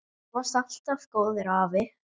Þú varst alltaf góður afi.